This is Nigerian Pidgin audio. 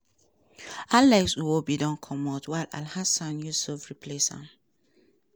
alex nwobi don comot while alansan yusuf replace am